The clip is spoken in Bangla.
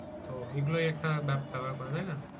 তো এই গুলো একটা ব্যাপার করে তাই না